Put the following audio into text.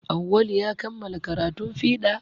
Awwalu ya kamala karatun fiɗa